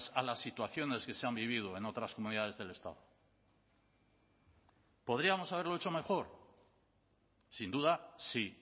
a las situaciones que se han vivido en otras comunidades del estado podríamos haberlo hecho mejor sin duda sí